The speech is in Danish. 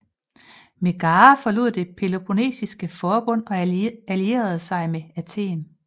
Megara forlod det Peloponnesiske Forbund og allierede sig med Athen